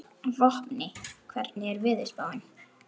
Vopni, hvernig er veðurspáin?